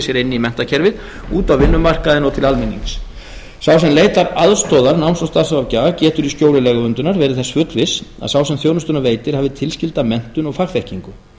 sér inn í menntakerfið út á vinnumarkaðinn og til almennings sá sem leitar aðstoðar náms og starfsráðgjafa getur í skjóli lögverndunar verið þess fullviss að sá sem þjónustuna veitir hafi tilskilda menntun og fagþekkingu